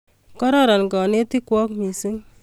Kororon kanetik kwok missing'